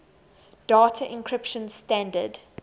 data encryption standard